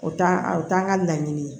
O t'a o t'an ka laɲini ye